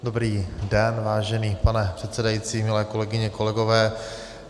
Dobrý den, vážený pane předsedající, milé kolegyně, kolegové.